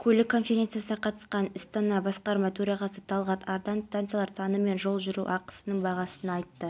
бағдарламалардың аясында құрылымдарды қайта құру жөнінде жұмыстар жүргізіп жатырмыз соның нәтижесінде жергілікті полиция қызметі құрылды